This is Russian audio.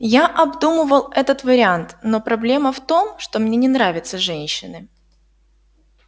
я обдумывал этот вариант но проблема в том что мне не нравятся женщины